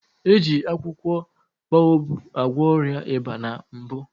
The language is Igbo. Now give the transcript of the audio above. Eji akwụkwọ boababụ gwọ ọrịa ịba na mbụ